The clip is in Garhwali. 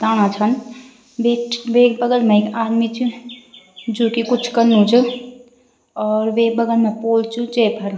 दाणा छन वेट वेक बगल मा एक आदमी च जू की कुछ कनु च और वेक बगल मा पोल च जैफर --